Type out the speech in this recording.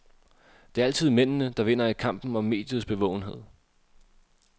Det er altid mændene, der vinder i kampen om mediets bevågenhed.